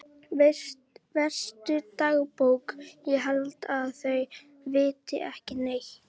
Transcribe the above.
Veistu dagbók ég held að þau viti ekki neitt.